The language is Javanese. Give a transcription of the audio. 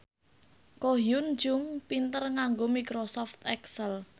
Ko Hyun Jung pinter nganggo microsoft excel